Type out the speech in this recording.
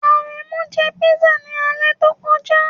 Aremu jẹ pisa ni alẹ to koja